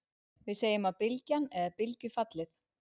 við segjum að bylgjan eða bylgjufallið